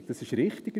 Das ist richtig: